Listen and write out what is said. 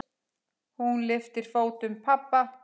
Hún lyftir fótum pabba.